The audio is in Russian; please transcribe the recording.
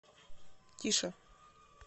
тише